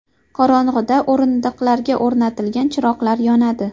Qorong‘ida o‘rindiqlarga o‘rnatilgan chiroqlar yonadi.